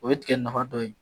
O bɛ tigɛ nafa dɔ ye